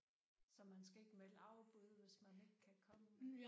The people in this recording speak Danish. Så man skal ikke melde afbud hvis man ikke kan komme?